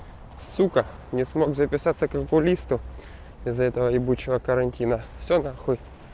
сука не смог записаться к окулисту из-за этого ебучего карантина всё нахуй